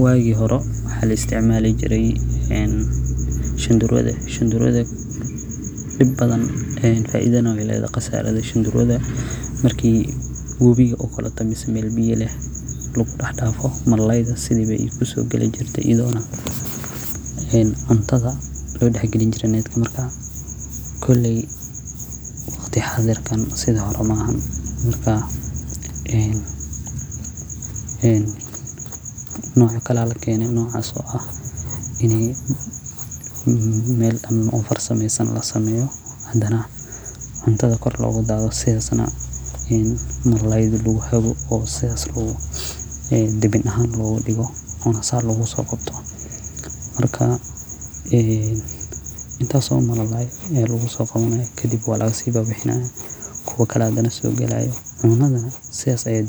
Wagi hore waxa laisticmali jiray een shandarua faida iyo qasara weylethaxy marki mel biya lex lagudaxdafo cuntada aya lodax galin jire net marka koley waqti xadarkan sidixorey maxan marka noca kale aya lakene nocas o ah mel kale oo farsamesan losameyo xadana cuntada kor logadadiyo sidas na marlabad bedel axan logadigo marka kadib walagasibibixinaya kuwa kale hathana sogalayo cunada na sidas aya